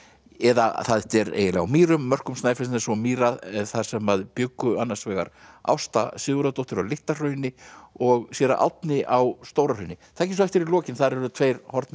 eða þetta er eiginlega á Mýrum mörkum Snæfellsness og mýra þar sem bjuggu annars vegar Ásta Sigurðardóttir á Litla Hrauni og séra Árni á Stóra Hrauni takið svo eftir í lokin þar eru tveir horfnir